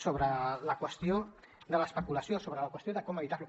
sobre la qüestió de l’especulació sobre la qüestió de com evitar ho